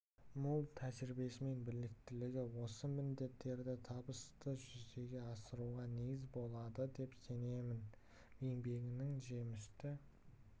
мол тәжірибесі мен біліктілігі осы міндеттерді табысты жүзеге асыруға негіз болады деп сенемін еңбегінің жемісті